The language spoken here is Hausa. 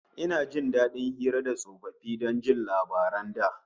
Ina jin dadin hira da tsofaffi don jin labaran da